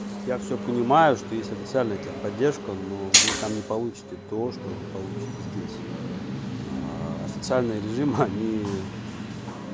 я все понимаю что есть официальная техподдержка но вы там не получите то что вы получите здесь официальный режима они